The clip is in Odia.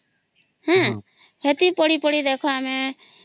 ହଁ ସେତିକି ପଢି ପଢି ଦେଖ ଆମେ